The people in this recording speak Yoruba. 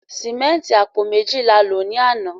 Símẹ́ǹtì apo mejo la lo ni ana